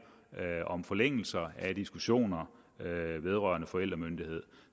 om forlængelse af diskussioner vedrørende forældremyndighed